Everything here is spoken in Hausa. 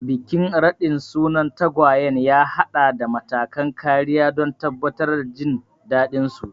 Bikin raɗin sunan tagwayen ya haɗa da matakan kariya don tabbatar da jin daɗinsu.